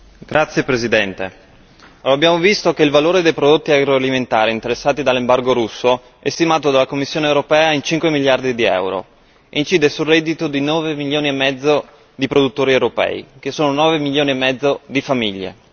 Signora Presidente, onorevoli colleghi, abbiamo visto che il valore dei prodotti agroalimentari interessati dall'embargo russo è stimato dalla Commissione europea in cinque miliardi di euro e incide sul reddito di nove milioni e mezzo di produttori europei, che sono nove milioni e mezzo di famiglie.